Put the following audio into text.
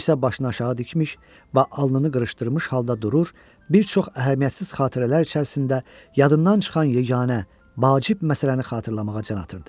O isə başını aşağı dikmiş və alnını qırışdırmış halda durur, bir çox əhəmiyyətsiz xatirələr içərisində yadından çıxan yeganə vacib məsələni xatırlamağa can atırdı.